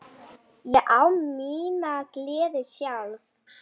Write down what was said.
Ég á mína gleði sjálf.